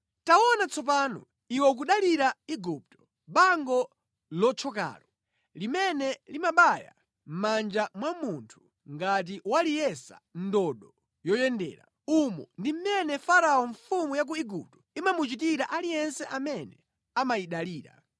Taona tsono, iwe ukudalira Igupto, bango lothyokalo, limene limalasa mʼmanja mwa munthu ngati waliyesa ndodo yoyendera! Umo ndi mmene Farao mfumu ya ku Igupto imachitira aliyense amene akuyidalira.